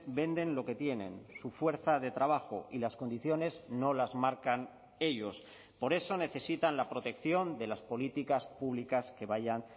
venden lo que tienen su fuerza de trabajo y las condiciones no las marcan ellos por eso necesitan la protección de las políticas públicas que vayan